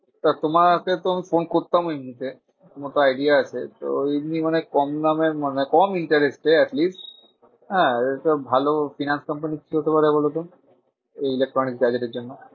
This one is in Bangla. তা তোমাকেতো আমি ফোন করতাম এমনিতে। তোমার তো idea আছে। তো এমনি মানে কম দামের মানে কম interest এ atleast হ্যাঁ তো ভালো finance company কি হতে পারে বোলোত? এই electronic gazette এর জন্য।